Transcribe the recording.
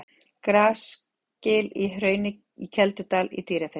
Grasgil í Hrauni í Keldudal í Dýrafirði.